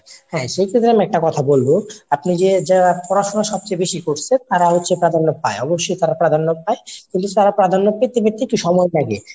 হ্যাঁ। সেক্ষেত্রে আমি একটা কথা বলবো আপনি যে যা পড়াশুনা সবচে বেশি করসে তারা হচ্ছে প্রাধান্য পায় অবশ্যই তারা প্রাধান্য পায় কিন্তু তারা প্রাধান্য পেতে পেতে একটু সময় লাগে।